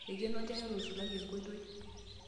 Eikeno olchani otusulari enkoitoi.